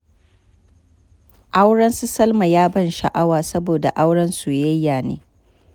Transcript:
Auren su salma ya ban sha'awa, saboda auren soyayya ne.